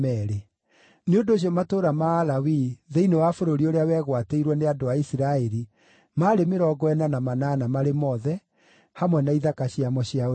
Nĩ ũndũ ũcio matũũra ma Alawii thĩinĩ wa bũrũri ũrĩa wegwatĩirwo nĩ andũ a Isiraeli maarĩ mĩrongo ĩna na manana marĩ mothe, hamwe na ithaka ciamo cia ũrĩithio.